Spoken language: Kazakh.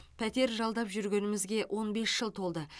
пәтер жалдап жүргенімізге он бес жыл толды